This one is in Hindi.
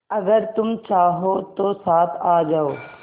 अगर तुम चाहो तो साथ आ जाओ